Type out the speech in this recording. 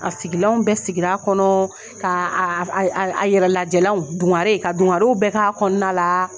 A sigilaw bɛɛ sigira kɔnɔ, ka a a a yɛrɛ lajɛlanw dungare ka dungarew bɛɛ ka kɔnɔna la.